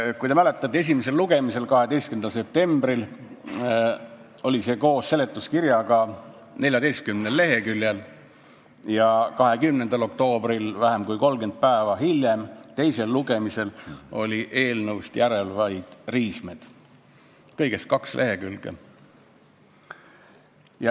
Kui te mäletate, esimesel lugemisel, 12. septembril oli see koos seletuskirjaga 14 leheküljel, aga teisel lugemisel, 20. oktoobril, st vähem kui 30 päeva hiljem, olid eelnõust järel vaid riismed, kõigest kaks lehekülge.